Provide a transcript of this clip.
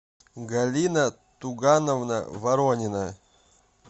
галина тугановна воронина